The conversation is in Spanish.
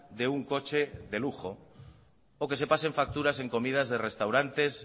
de un coche de lujo o que se pasen facturas en comidas de restaurante